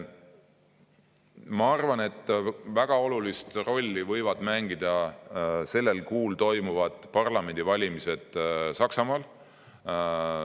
Ma arvan, et väga olulist rolli võivad mängida sellel kuul toimuvad parlamendivalimised Saksamaal.